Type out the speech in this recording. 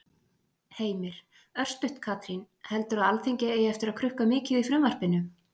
Heimir: Örstutt Katrín, heldurðu að Alþingi eigi eftir að krukka mikið í frumvarpinu?